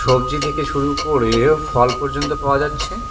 সবজি থেকে শুরু করে ফল পর্যন্ত পাওয়া যাচ্ছে।